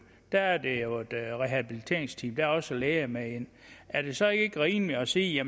der er jo et rehabiliteringsteam og der er også læger med er det så ikke rimeligt at sige at